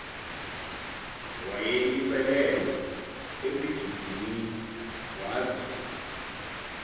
wayelicelelwe esigidimini waza